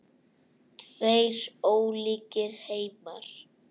Tveir ólíkir heimar.